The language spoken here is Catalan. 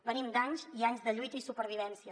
venim d’anys i anys de lluita i supervivència